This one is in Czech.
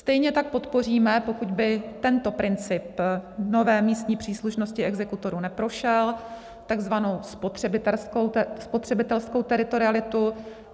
Stejně tak podpoříme, pokud by tento princip nové místní příslušnosti exekutorů neprošel, takzvanou spotřebitelskou teritorialitu.